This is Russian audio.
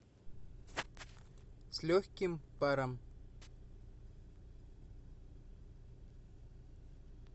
с легким паром